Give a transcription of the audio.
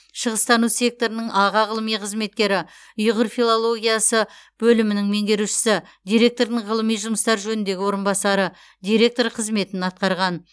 шығыстану секторының аға ғылыми қызметкері ұйғыр филологиясы бөлімінің меңгерушісі директордың ғылыми жұмыстар жөніндегі орынбасары директор қызметін атқарған